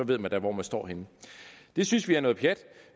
ved man da hvor man står henne det synes vi er noget pjat